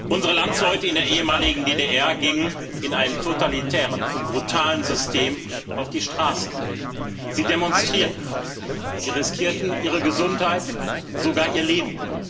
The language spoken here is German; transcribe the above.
Unsere Landsleute in der ehemaligen DDR gingen in einem totalitären und brutalen System auf die Straße. Sie demonstrierten, sie riskierten ihre Gesundheit, sogar ihr Leben.